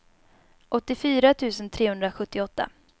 åttiofyra tusen trehundrasjuttioåtta